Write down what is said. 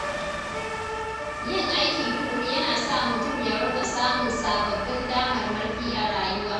Yin aiki tuƙuru yana sa mutum ya riƙa samun sababbin damarmaki a rayuwa.